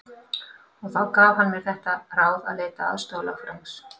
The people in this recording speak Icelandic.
Og þá gaf hann mér þetta ráð að leita aðstoðar lögfræðings.